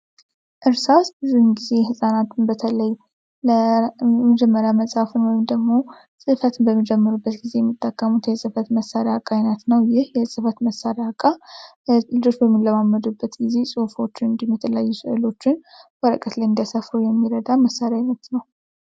እርሳስ ብዙን ጊዜ ሕፃናትን በተለይ ለጀመሪያ መጽሐፍን ወይም ደግሞ ጽፈትን በሚጀምሩበት ጊዜ የሚጠቀሙት የሕጽፈት መሣሪያ እቃ አይነት ነው። ይህ የሕጽፈት መሳሪያ እቃ ልጆች በሚለማመዱበት ጊዜ ጽሑፎችን እንዲሁም የተለያዩ ስዕሎችን ወረቀት ላይ እንዲያሰፍሩ የሚረዳ መሣሪያ ዓይነት ነው።